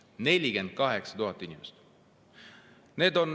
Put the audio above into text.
48 000 inimest!